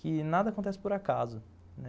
que nada acontece por acaso.